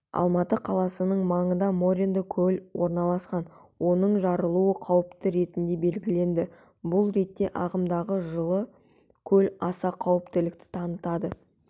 алматы қаласының маңында моренді көл орналасқан оның жарылуы қауіпті ретінде белгіленді бұл ретте ағымдағы жылы көл аса қауіптілікті танытады